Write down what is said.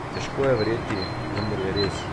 Težko je verjeti, vendar je res.